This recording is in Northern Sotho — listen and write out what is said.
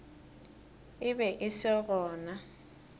e be e se gona